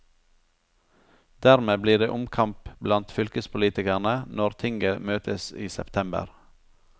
Dermed blir det omkamp blant fylkespolitikerne når tinget møtes i september.